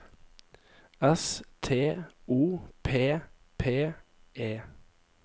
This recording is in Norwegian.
S T O P P E